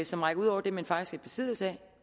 som rækker ud over det man faktisk besiddelse af